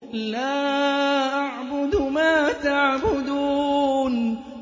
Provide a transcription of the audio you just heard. لَا أَعْبُدُ مَا تَعْبُدُونَ